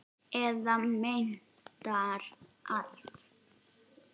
Eða meintan arf.